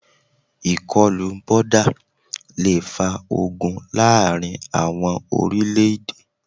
Ìkọlù boda le fa ogun láàrin àwọn orílẹ̀-èdè.